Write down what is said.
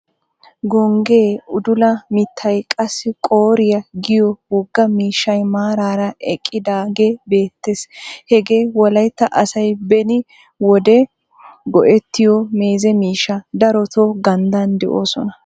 Gonggee udula mittay qassi qoriyaa giyoo wogaa miishshay maarara eqqidaagee beettees. hagee wolaytta asay beni wode go"ettiyoo meeze miishshaa. darotoo ganddaan de'oosona.